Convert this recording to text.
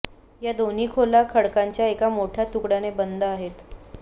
या दोन्ही खोल्या खडकाच्या एका मोठ्या तुकड्याने बंद आहेत